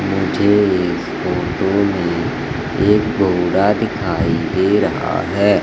मुझे इस फोटो में एक घोड़ा दिखाई दे रहा है।